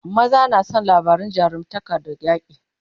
maza na San labarin jarumtaka da yaƙi